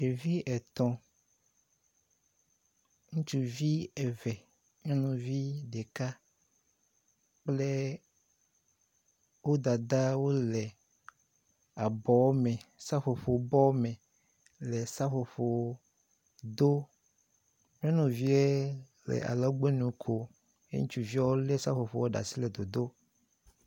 Ɖevi etɔ ŋutsuvi eve nyɔnuvi ɖeka kple wo dada wole abɔ me seƒoƒobɔ me seƒoƒo dom. Nyɔnuvia le alɔgbɔnu kom ŋutsuviawo le seƒoƒoa ɖe asi nɔ dodom.